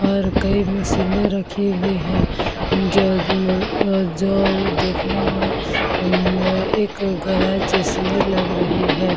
और कई मशीने रखी हुई है जो आ जो देखने में एक गैरेज जैसे ही लग रही है ।